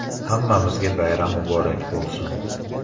Hammamizga bayram muborak bo‘lsin!